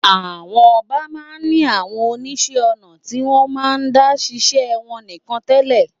Àwọn ọba máa ń ní àwọn oníṣẹ́ ọnà tí wọ́n máa ń dá ṣiṣẹ́ wọn nìkan tẹ́lẹ̀.